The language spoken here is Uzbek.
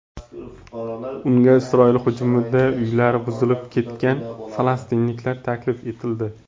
Unga Isroil hujumida uylari buzilib ketgan falastinliklar taklif etildi.